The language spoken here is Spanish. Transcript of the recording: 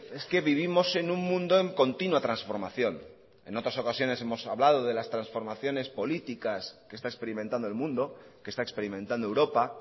es que vivimos en un mundo en continúa transformación en otras ocasiones hemos hablando de las transformaciones políticas que está experimentando el mundo que está experimentando europa